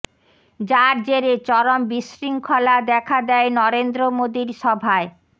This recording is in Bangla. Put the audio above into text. যার জেরে চরম বিশৃঙ্খলা দেখা দেয় নরেন্দ্র মোদির সভায়